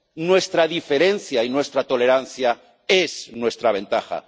Nuestra diferencia y nuestra tolerancia es nuestra ventaja.